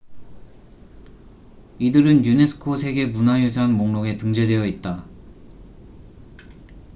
이들은 유네스코 세계 문화유산 목록에 등재되어 있다